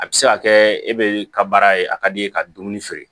A bɛ se ka kɛ e bɛ ka baara ye a ka d'i ye ka dumuni feere